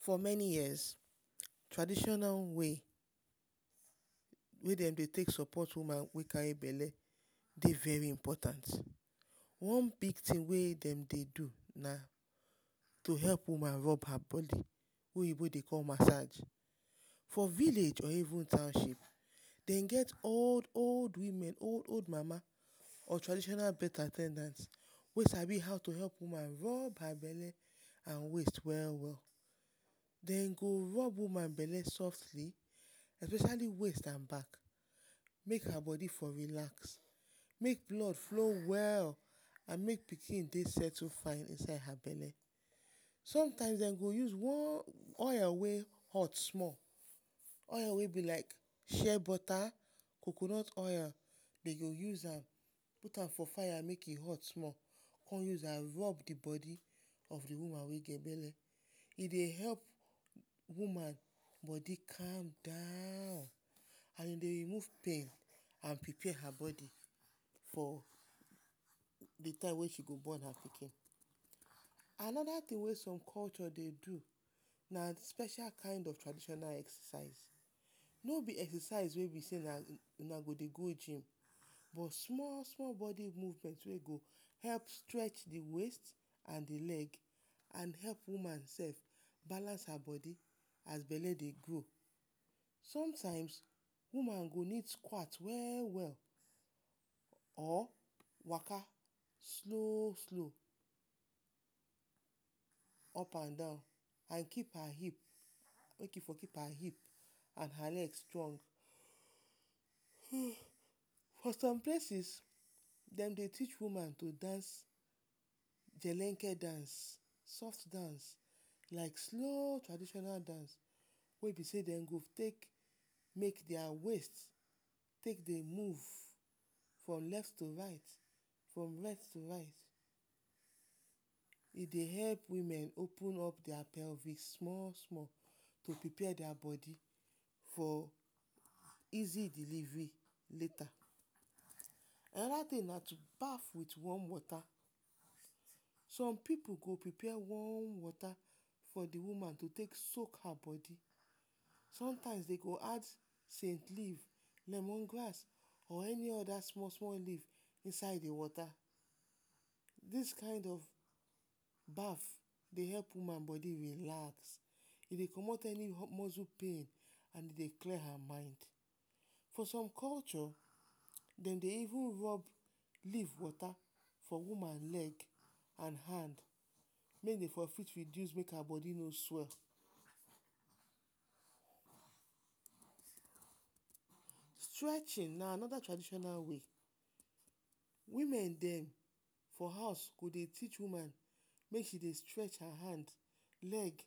For many years, traditional way wey dem dey take sopot woman wey kari bele dey veri important. One big tin wey dem dey do na to help woman rob her bodi wey oyibo dey call masaj, for village or even township dem get old-old women, old-old mama or traditional birth at ten dance wey sabi how to help woman rob her bele and waist we-we. Dem go rob woman bele softly especiali waist and back make her bodi for relax, make blood flow well and make pikin dey setle fine inside her bele. Some time dem go use oil wey hot small, oil wey be like share bota coconut oil, dem go use am put am for fire make e hot small and dem go come use am rob the bodi of the woman wey get bele. E dey help woman bodi calm down and e dey remove pain and e dey prepare woman bodi for the time wey she go bon her pikin. Anoda tin wey som culture dey do, na special kind of traditional exercise, no be exercise wey una go det go jim but small-small bodi move wey go help stretch the waist and the leg. And help woman sef balance her bodi as bele dey grow. Som time, woman go need skwat we-we or waka slow-slow up and down and keep her hip, mey e for keep her hip and her leg strong[um] for som places dem dey teach woman to dance pelage dance, soft dance, small traditional dance wey be sey dem go take, take dia waist take dey move from left to right, from right to right. E dey help woman open up dia pelvic small-small, dey prepare dia bodi for easy delivery later, Anoda tin na to baf with warm wota, som pipu go prepare warm wota for the woman to take soak her bodi, some time dem go add cent leaf, lemon grass or any small-small leaf inside the wota, dis kind of baf dey help woman bodi relax, e dey comot any muscle pain and e dey cure her mind. For som culture, dem dey eve rob leaf wota for woman leg and hand mey dey for fit reduce mey her bodi no swell. Stretchin na anoda traditional way, wimen dem for house she go teach woman mey she dey stretch her hand, leg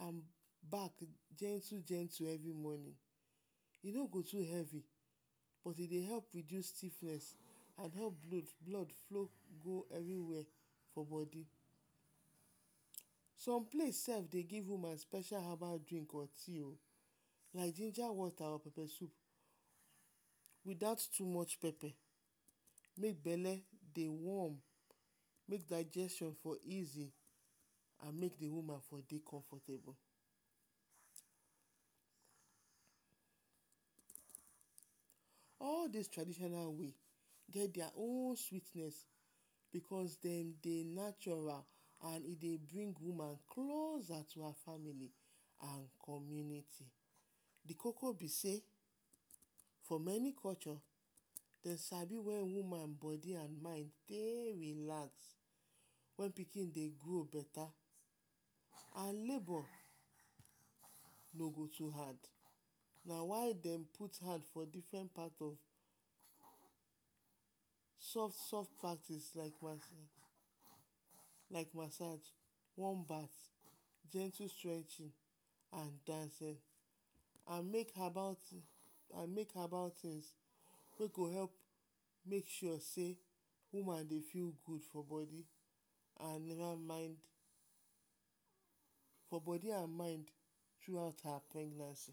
and back gentle- gentle everi morning, e no go too heavi but e dey help reduce stiffness and help leave blood flow go any where for bodi. Som place sef dey give woman special habal drink, or tea, na ginger wota or pepe sup without too much pepe mey bele dey warm, mey digestion for easy and mey the woman for dey comfortable. All dis traditional way get dia own sweetness, because dem dey antural and e dey bring woman closer to her famili and community, the koko be sey, for meni culture, dem sabi wen woman bodi and mind dey relax wen pikin dey grow beta and labor no go too hard. Na why dem put hand for different type of soft-soft practice like masaj, warm bath, gentle stretchin and dancing and make habal tins wey go help make sure sey woman dey feel gud for bodi and mind through out her pregnancy.